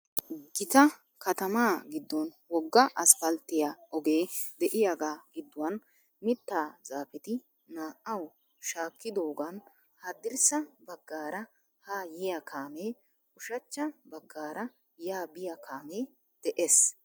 Gita katamaa giddon wogga asppalttiyaa ogee de"iyaagaa gidduwan mittaa zaafeti naa"awu shaakkidogan haddirssa baagaara haa yiya kaamee ushacha baggaara yaa biya kaamee de'ees.